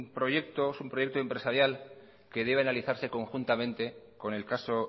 proyecto es un proyecto empresarial que debe analizarse conjuntamente con el caso